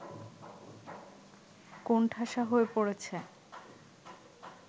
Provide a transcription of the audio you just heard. কোণঠাসা হয়ে পড়েছে